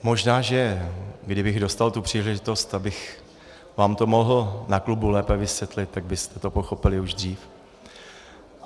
Možná že kdybych dostal tu příležitost, abych vám to mohl na klubu lépe vysvětlit, tak byste to pochopili už dřív.